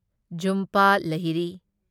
ꯓꯨꯝꯄ ꯂꯍꯤꯔꯤ